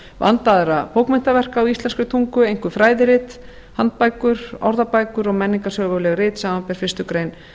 vandaðra bókmenntaverka á íslenskri tungu einkum fræðirit handbækur orðabækur og menningarsöguleg rit samanber fyrstu grein